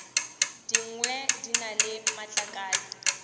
dingwe di na le matlakala